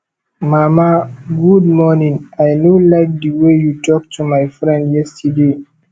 mama good morning i know like the way you talk to my friend yesterday